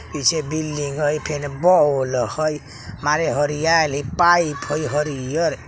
पीछे बिल्डिंग हई फेन बॉल हई मारे हरियाइल हई पाइप हई हरियर।